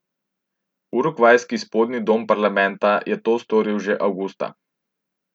Urugvajski spodnji dom parlamenta je to storil že avgusta.